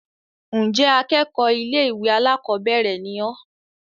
ǹjẹ́ akẹ́kọ̀ọ́ ilé-ìwé alákọ̀bẹ́ẹ́rẹ̀ ni ọ́?